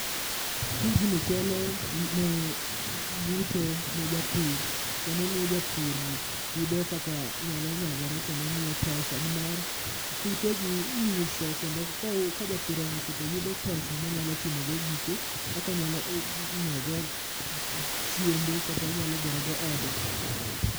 Tijni kelo ne yuto ne japur kendo miyo japur yudo kaka nyalo nyagore kendo miye pesa. Nimar, kutegi iuso kendo kou ka japur ouso to yudo pesa monyalo timogo gike, kakonyalo o nyiewogo chiembe kata onyalo gerogo ode.